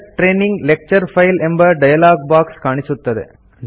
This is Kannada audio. ಸೆಲೆಕ್ಟ್ ಟ್ರೇನಿಂಗ್ ಲೆಕ್ಚರ್ ಫೈಲ್ ಎಂಬ ಡಯಲಾಗ್ ಬಾಕ್ಸ್ ಕಾಣಿಸುತ್ತದೆ